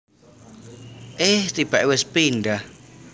Eh tibake wis pindah